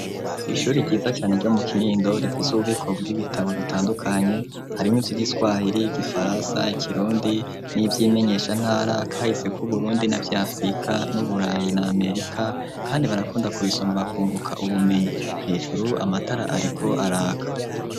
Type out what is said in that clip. Ishuri ryiza cane iryo mu kinindo rifise ububiko bw'ibitabo bitandukanye harimwo ibyo giswahiri gifaransa ikirundi n'iby'imenyeshantara kahise ku burundi na byafrika n'uburayi na amerika kandi barakunda ku isoma bakunguka ubumenyi hejuru amatara ariko araka.